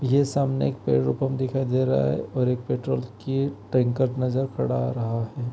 ये सामने एक पेट्रोल पंप दिखाई दे रहा है और एक पेट्रोल की टैंकर नज़र पड़ा रहा है।